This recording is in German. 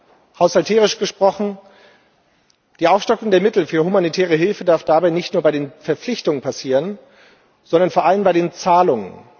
Mit Bezug auf den Haushalt gesprochen Die Aufstockung der Mittel für humanitäre Hilfe darf dabei nicht nur bei den Verpflichtungen passieren, sondern vor allem bei den Zahlungen.